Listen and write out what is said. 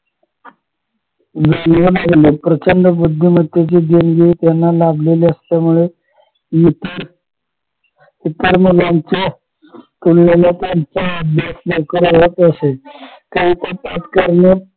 जाणवू लागला प्रचंड बुद्धिमतेची देणगी यांना लाभली असल्यामुळे इतर इतर मुलांच्या तुलनेने त्यांचा अभ्यास लवकर होत असे